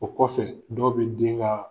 O kɔfɛ dɔw bi den ka